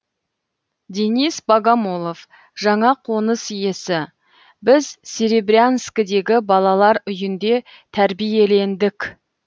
денис богомолов жаңа қоныс иесі біз серебрянскідегі балалар үйінде тәрбиелендік